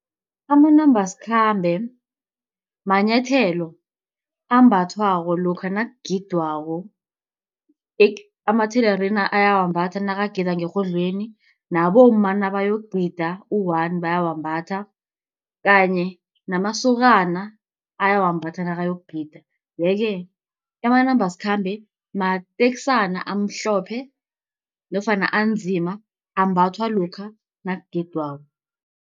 Amanambasikhambe manyathelo ambathwako lokha nakugidwako, amathelerina ayawambatha nakagida ngerhodlweni nabomma nabayokugida uwani bayawambatha kanye namasokana ayawambatha nakayokugida. Ye-ke amanambasikhambe mateksana amhlophe nofana anzima ambathwa lokha nakugidwako.